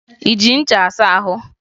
Ị ji ncha asa ahụ?